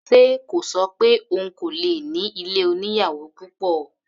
Ṣe kò ṣọ pé òun kò lè ní ilé oníyàwò púpọ̀?